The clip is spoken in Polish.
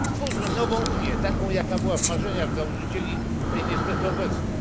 Stwórzmy nową unię, taką, jaka była w marzeniach założycieli tej, niestety, obecnej.